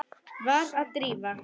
Var Drífa.?